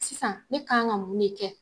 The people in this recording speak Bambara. Sisan ne kan ka mun de kɛ?